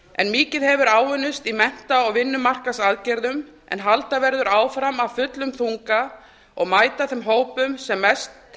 en mikið hefur áunnist í mennta og vinnumarkaðsaðgerðum en halda verður áfram á fullum þunga og mæta þeim hópum sem mest